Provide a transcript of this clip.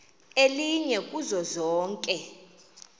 elinye kuzo zonke